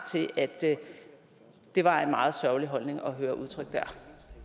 til at det var en meget sørgelig holdning at høre udtrykt der